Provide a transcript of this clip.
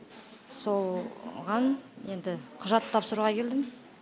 солған енді құжат тапсыруға келдім